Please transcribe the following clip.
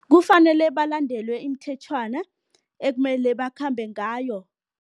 Kufanele balandele imithetjhwana ekumele bakhambe ngayo.